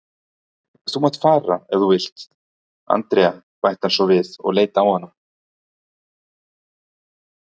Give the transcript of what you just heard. Þú mátt fara ef þú vilt, Andrea bætti hann svo við og leit á hana.